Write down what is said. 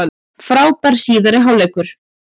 Frábær síðari hálfleikur